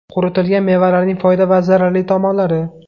Quritilgan mevalarning foyda va zararli tomonlari.